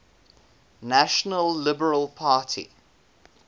national liberal party